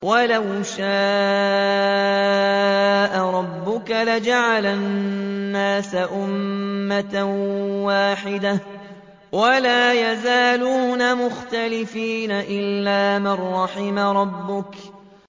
وَلَوْ شَاءَ رَبُّكَ لَجَعَلَ النَّاسَ أُمَّةً وَاحِدَةً ۖ وَلَا يَزَالُونَ مُخْتَلِفِينَ